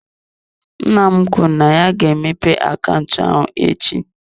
Nna m kwuru na ya ga-emepe akaụntụ ahụ echi.